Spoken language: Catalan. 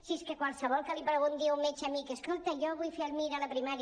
si és que qualsevol que li pregunti a un metge amic escolta jo vull fer el mir a la primària